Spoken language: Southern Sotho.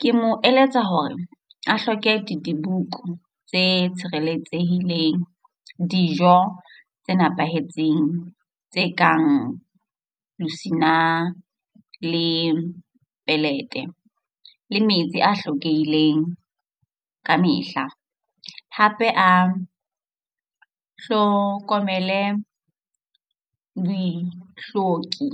Ke mo eletsa hore a hloke di dibuko tse tshireletsehileng, dijo tse nepahetseng tse kang mosina le pelete le metsi a hlokehileng kamehla, hape a hlokomele dihloki